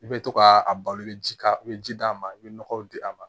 I bɛ to ka a balo i bɛ ji k'a kan i bɛ ji d'a ma i bɛ nɔgɔw di a ma